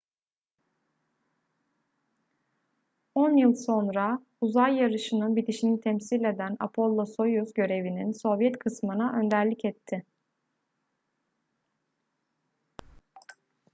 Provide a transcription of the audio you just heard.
on yıl sonra uzay yarışı'nın bitişini temsil eden apollo-soyuz görevinin sovyet kısmına önderlik etti